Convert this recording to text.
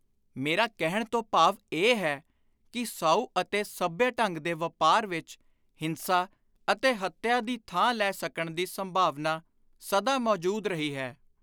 ਮੇਰਾ ਕਹਿਣ ਤੋਂ ਭਾਵ ਇਹ ਹੈ ਕਿ ਸਾਉ ਅਤੇ ਸੱਭਿਅ ਢੰਗ ਦੇ ਵਾਪਾਰ ਵਿਚ, ਹਿੰਸਾ ਅਤੇ ਹੱਤਿਆ ਦੀ ਥਾਂ ਲੈ ਸਕਣ ਦੀ ਸੰਭਾਵਨਾ ਸਦਾ ਮੌਜੁਦ ਰਹੀ ਹੈ।